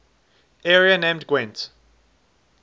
area named gwent